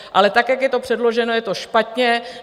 Ale tak, jak je to předloženo, je to špatně.